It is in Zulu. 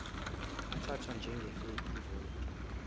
athathwa njengafake ivoti